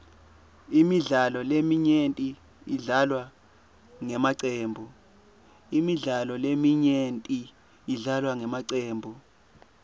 imidlalo leminyenti idlalwa ngemacembu